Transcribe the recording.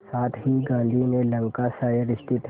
साथ ही गांधी ने लंकाशायर स्थित